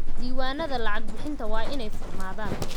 Diiwaanada lacag-bixinta waa inay furnaadaan.